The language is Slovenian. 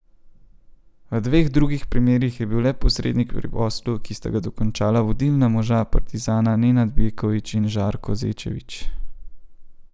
V dveh drugih primerih je bil le posrednik pri poslu, ki sta ga dokončala vodilna moža Partizana Nenad Bjeković in Žarko Zečević.